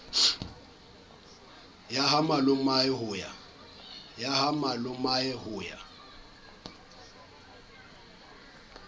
ya ha malomae ho ya